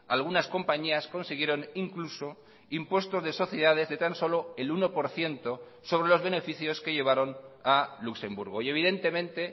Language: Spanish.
algunas compañías consiguieron incluso impuestos de sociedades de tan solo el uno por ciento sobre los beneficios que llevaron a luxemburgo y evidentemente